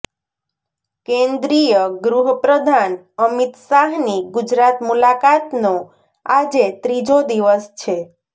કેન્દ્રીય ગૃહ પ્રધાન અમિત શાહની ગુજરાત મુલાકાતનો આજે ત્રીજો દિવસ છે